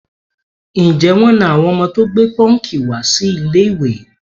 Ǹjẹ́ wọ́n na àwọn ọmọ tó gẹ pọ́ǹkì wá sí ilé-ìwé?